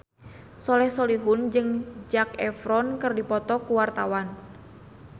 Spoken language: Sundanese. Soleh Solihun jeung Zac Efron keur dipoto ku wartawan